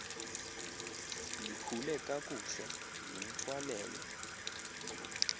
likhule kakuhle limthwalele